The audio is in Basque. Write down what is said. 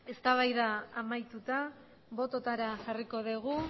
eztabaida amaituta bototara jarriko dugu